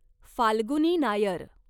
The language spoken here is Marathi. फाल्गुनी नायर